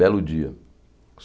Belo dia.